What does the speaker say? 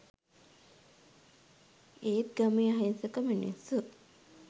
ඒත් ගමේ අහිංසක මිනිස්සු